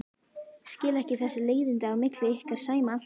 Skil ekki þessi leiðindi á milli ykkar Sæma alltaf.